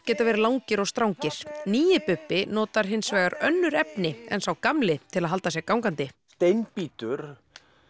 geta verið langir og strangir nýi Bubbi notar önnur efni en sá gamli til að halda sér gangandi steinbítur